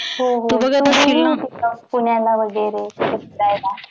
हो हो पुण्याला वगैरे फिरायला